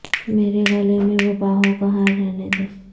مرے گلے میں وہ بانہوں کا ہار رہنے دے